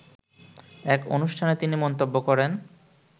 এক অনুষ্ঠানে তিনি মন্তব্য করেন